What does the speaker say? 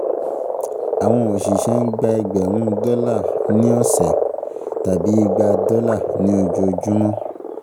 Àwọn òṣìṣẹ́ ń gba ẹgbẹ̀rún dọ́là ní ọ̀sẹ̀, tàbí igba dọ́là ní ojoojúmọ́